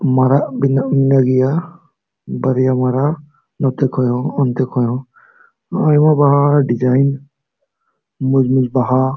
ᱢᱮᱱᱟᱜ ᱵᱮᱱᱟᱣ ᱢᱮᱱᱟᱜ ᱜᱤᱭᱟ ᱵᱟᱲᱟᱭ ᱢᱮᱱᱟᱜ ᱱᱤᱛᱮ ᱠᱷᱚᱡ ᱦᱚ ᱤᱱᱛᱮ ᱠᱷᱚᱡ ᱦᱚ ᱟᱭᱢᱟ ᱵᱟᱦᱟ ᱰᱤᱡᱟᱭᱤᱱ ᱢᱚᱡ-ᱢᱚᱡ ᱵᱟᱦᱟ --